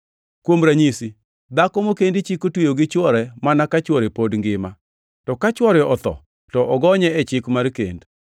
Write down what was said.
Kuom ranyisi, dhako mokendi Chik otweyo gi chwore mana ka chwore pod ngima; to ka chwore otho, to ogonye e chik mar kend.